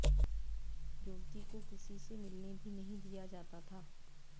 युवती को किसी से मिलने भी नहीं दिया जाता था